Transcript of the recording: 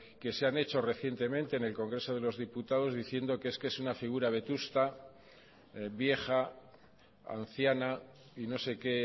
que se han hecho recientemente en el congreso de los diputados diciendo que es que es una figura vetusta vieja anciana y no sé qué